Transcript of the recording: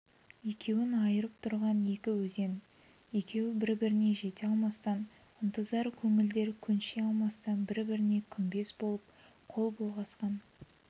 екеуін айырып тұрған екі өзен екеуі бір-біріне жете алмастан ынтызар көңілдер көнши алмастан бір-біріне күмбез болып қол бұлғасқан